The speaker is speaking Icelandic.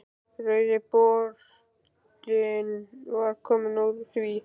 Rauði borðinn var kominn úr því.